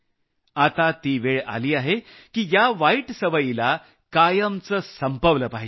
आता ती वेळ आली आहे की या वाईट सवयीला कायमचं संपवलं पाहिजे